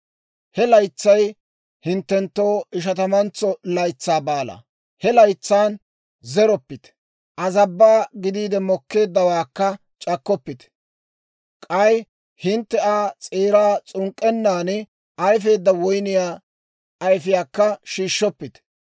He laytsay hinttenttoo Ishatamantso Laytsaa Baalaa. He laytsan zeroppite; azabbaa gidiide mokkeeddawaakka c'akkoppite; k'ay hintte Aa s'eeraa s'unk'k'ennan ayfeedda woyniyaa ayfiyaakka shiishshoppite.